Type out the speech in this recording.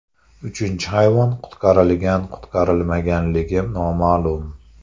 Uchinchi hayvon qutqarilgan-qutqarilmaganligi noma’lum.